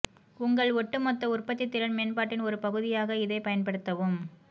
உங்கள் ஒட்டுமொத்த உற்பத்தி திறன் மேம்பாட்டின் ஒரு பகுதியாக இதைப் பயன்படுத்தவும்